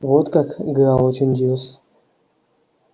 вот как гаал очень удивился